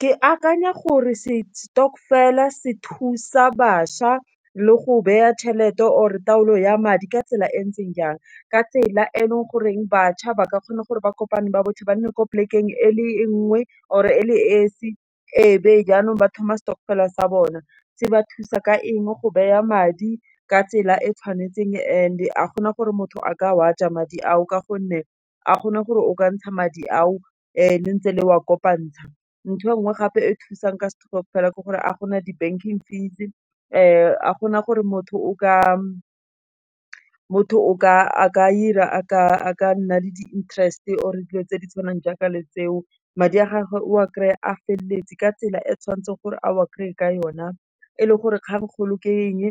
Ke akanya gore se stokvel-e se thusa bašwa, le go baya tšhelete or e taolo ya madi ka tsela e ntseng jang, ka tsela e e leng goreng, bašwa ba ka kgona gore ba kopane ba botlhe, ba nne ko polekeng e le nngwe or e le esi, e be jaanong ba thoma stokvel a sa bona. Se ba thusa ka eng go baya madi ka tsela e tshwanetseng and ga gona gore motho a ka wa ja madi ao, ka gonne a kgona gore o ka ntsha madi ao le ntse le wa kopantsha. Ntho engwe gape e thusang ka stokvel fela ke gore a gona di-banking fees, ga gona gore motho o ka nna le di interest-e or e dilo tse di tshwanang jaaka le tseo, madi a gagwe o a kry-a feleletse, ka tsela e e tshwanetseng gore a o a kry-a ka yona. E le gore kgang kgolo ke eng